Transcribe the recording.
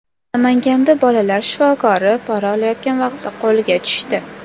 Namanganda bolalar shifokori pora olayotgan vaqtida qo‘lga tushdi.